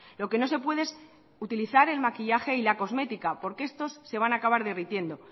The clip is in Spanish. lo que no se puede es utilizar el maquillaje y la cosmética porque estos se van a acabar derritiendo